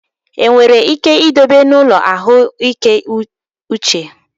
Ndị ọrịa ole ka enwere ike idobe n'ụlọ ahụike uche?